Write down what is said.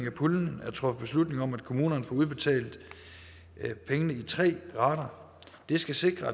af puljen er truffet beslutning om at kommunerne får udbetalt pengene i tre rater det skal sikre